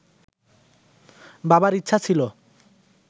বাবার ইচ্ছা ছিল